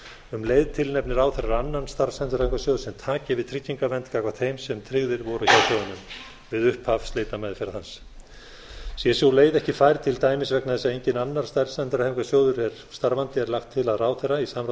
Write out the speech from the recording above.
um leið tilnefni ráðherra annan starfsendurhæfingarsjóð sem taki við tryggingavernd gagnvart þeim sem tryggðir voru hjá sjóðnum við upphaf slitameðferðar hans sé sú leið ekki fær til dæmis vegna þess að enginn annar starfsendurhæfingarsjóður er starfandi er lagt til að ráðherra í samráði